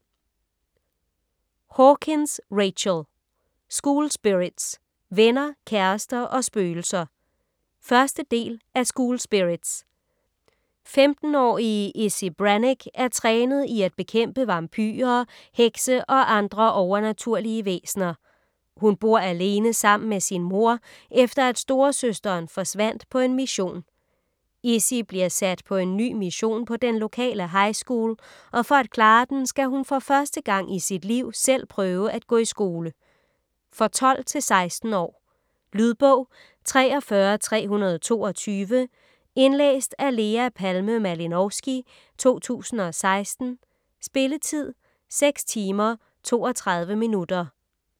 Hawkins, Rachel: School spirits - venner, kærester og spøgelser 1. del af School spirits. 15-årige Izzy Brannick er trænet i at bekæmpe vampyrer, hekse og andre overnaturlige væsener. Hun bor alene sammen med sin mor, efter at storesøsteren forsvandt på en mission. Izzy bliver sat på en ny mission på den lokale high school, og for at klare den, skal hun for første gang i sit liv selv prøve gå i skole. For 12-16 år. Lydbog 43322 Indlæst af Lea Palme Malinovsky, 2016. Spilletid: 6 timer, 32 minutter.